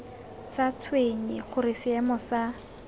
sa tshwenye gore seemo sa